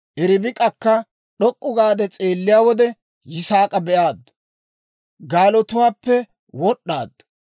Ribik'akka d'ok'k'u gaade s'eelliyaa wode, Yisaak'a be'aaddu; gaaluwaappe wod'd'aaddu.